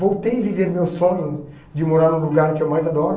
Voltei a viver meu sonho de morar no lugar que eu mais adoro.